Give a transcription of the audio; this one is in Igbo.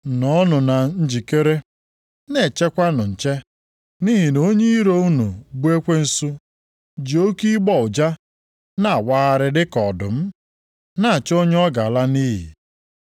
Nọọnụ na njikere, na-echekwanụ nche nʼihi na onye iro unu bụ ekwensu ji oke ịgbọ ụja na-awagharị dịka ọdụm, na-achọ onye ọ ga-ala nʼiyi.